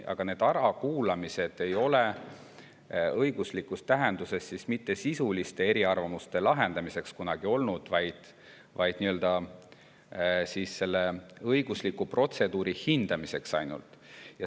Aga need ärakuulamised ei ole õiguslikus tähenduses kunagi olnud mitte sisuliste eriarvamuste lahendamiseks, vaid ainult selle õigusliku protseduuri hindamiseks.